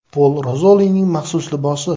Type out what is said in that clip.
Pol Rozolining maxsus libosi.